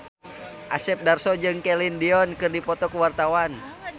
Asep Darso jeung Celine Dion keur dipoto ku wartawan